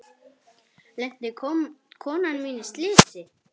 Lenti konan mín í slysi?